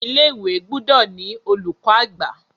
Ilé-ìwé gbúdọ̀ ni olùkọ̀-àgbà.